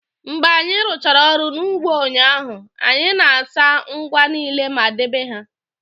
Mgbe anyị rụchara ọrụ n'ugbo ụnyaahụ, anyị na-asa ngwa niile ma debe ha